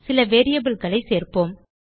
சில variableகளை சேர்ப்போம்